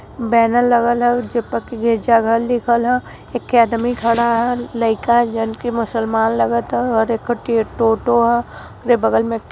Banner लगल ह। उ ज प के गिरजा घर लिखल ह। एके आदमी खड़ा हल। लइका जनकी मुसलमान लगत ह अर एखो टे टोटो ह। ओकरे बगल में --